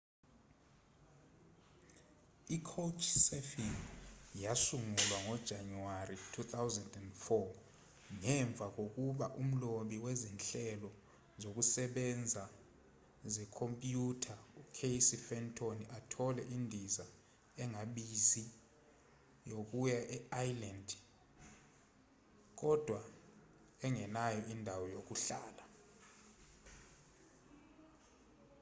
i-couchsurfing yasungulwa ngojanuwari 2004 ngemva kokuba umlobi wezinhlelo zokusebenza zekhompyutha ucasey fenton athole indiza engabizi yokuya e-iceland kodwa engenayo indawo yokuhlala